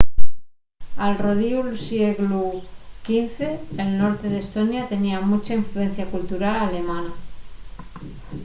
al rodiu'l sieglu xv el norte d'estonia tenía muncha influencia cultural alemana